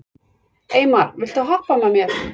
Eymar, viltu hoppa með mér?